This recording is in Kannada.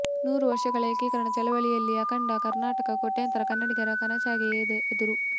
ನೂರು ವರ್ಷಗಳ ಏಕೀಕರಣದ ಚಳವಳಿ ಯಲ್ಲಿ ಅಖಂಡ ಕರ್ನಾಟಕ ಕೋಟ್ಯಂತರ ಕನ್ನಡಿಗರ ಕನಸಾಗಿದೆ ಎಂದರು